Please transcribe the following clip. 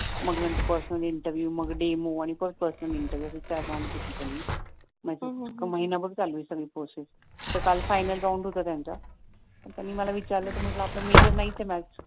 मग नंतर personal interview मग डेमो मग परत पर्सनल इंटरव्हिव्ह असे चार राउंड घेतले त्यांनी महिनाभर चालू आहे सगळी प्रोसेस तर काळ फायनल राउंड होता त्यांचा पण त्यांनी मला विचारलं तर आपलं मेजर नाहीच मॅथ्स